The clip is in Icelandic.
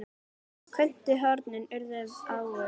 Köntuð hornin urðu ávöl.